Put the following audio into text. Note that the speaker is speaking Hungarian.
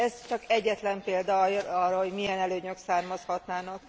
Ez csak egyetlen példa arra, hogy milyen előnyök származhatnának.